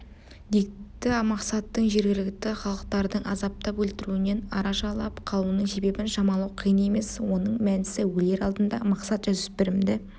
дикті мақсаттың жергілікті халықтардың азаптап өлтіруінен арашалап қалуының себебін шамалау қиын емес оның мәнісі өлер алдында мақсат жасөспірімді